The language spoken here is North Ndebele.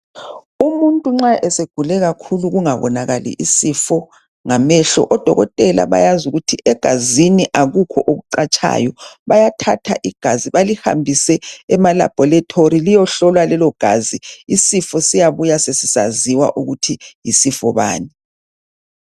Umuntu nxa esegule kakhulu kungabonakali isifo ngamehlo oDokotela bayazi ukuthi egazini akukho okucatshayo bayathatha igazi balihambise emaLaboratory liyehlolwa lelo gazi isifo siyabuya sesisaziwa ukuthi yisifo bani.